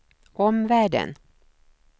omvärlden